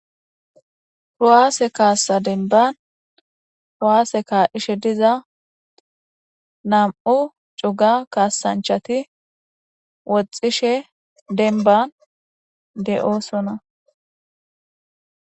Rowaase kaassa denban owaasse ka ishe diza nam'u cuga kaasanchati woxxishe denban de'oosona.